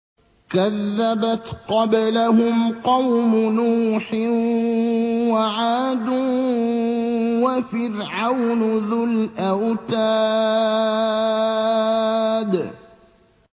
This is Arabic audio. كَذَّبَتْ قَبْلَهُمْ قَوْمُ نُوحٍ وَعَادٌ وَفِرْعَوْنُ ذُو الْأَوْتَادِ